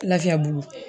Lafiya bolo